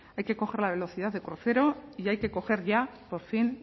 hay que coger la velocidad de crucero y hay que coger ya por fin